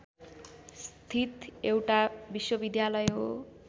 स्थित एउटा विश्वविद्यालय हो